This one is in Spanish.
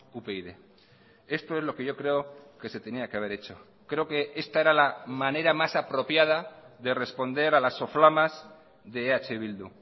upyd esto es lo que yo creo que se tenía que haber hecho creo que esta era la manera más apropiada de responder a las soflamas de eh bildu